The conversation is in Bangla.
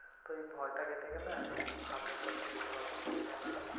তো এই ভয়টা কেটে গেলে একদম hundred percent recover করবে, তাইনা?